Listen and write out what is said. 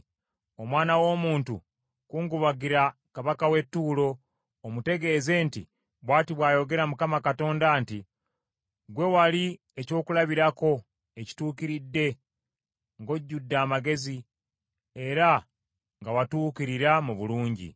“Omwana w’omuntu kungubagira kabaka w’e Ttuulo, omutegeeze nti, Bw’ati bw’ayogera Mukama Katonda nti, “ ‘Ggwe wali ekyokulabirako ekituukiridde ng’ojjudde amagezi era nga watuukirira mu bulungi.